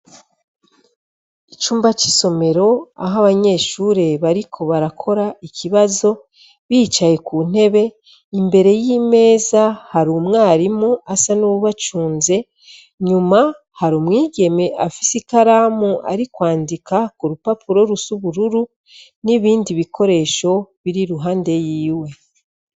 Icumba c'isomero aho abanyeshure bariko barakora ikibazo bicaye ku ntebe, imbere y'imeza hari umwarimu asa n'uwubacunze. Nyuma hari umwigeme afise ikaramu ari kwandika ku rupapuro rus'ubururu n'ibindi bikoresho biri iruhande yiwe.